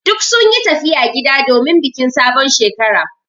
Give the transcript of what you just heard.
Duk sun yi tafiya gida domin bikin sabon Shekara.